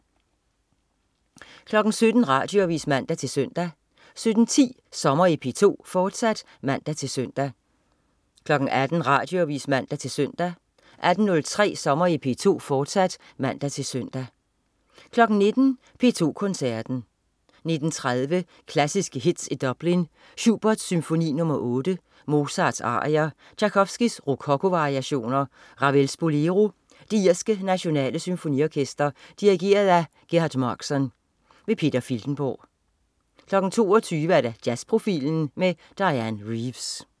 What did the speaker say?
17.00 Radioavis (man-søn) 17.10 Sommer i P2, fortsat (man-søn) 18.00 Radioavis (man-søn) 18.03 Sommer i P2, fortsat (man-søn) 19.00 P2 Koncerten. 19.30 Klassiske hits i Dublin. Schubert: Symfoni nr. 8. Mozart: Arier. Tjajkovskij: Rokoko-variationer. Ravel: Bolero. Det irske Nationale Symfoniorkester. Dirigent: Gerhard Markson. Peter Filtenborg 22.00 Jazzprofilen med Dianne Reeves